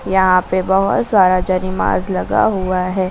यहां पे बहुत सारा जरिमाज़ लगा हुआ है।